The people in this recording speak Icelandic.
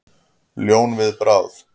Ljón við bráð.